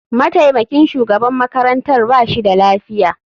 Mataimakin shugaban makarantar ba shi da lafiya.